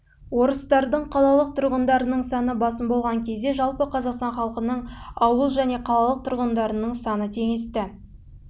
орыстардың қалалық тұрғындарының саны басым болған кезде жалпы қазақстан халқының ауыл және қалалық тұрғындарының саны теңесті